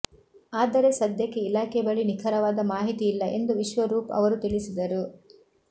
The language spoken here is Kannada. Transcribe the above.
ಆದರೆ ಸದ್ಯಕ್ಕೆ ಇಲಾಖೆ ಬಳಿ ನಿಖರವಾದ ಮಾಹಿತಿ ಇಲ್ಲ ಎಂದು ವಿಶ್ವರೂಪ್ ಅವರು ತಿಳಿಸಿದರು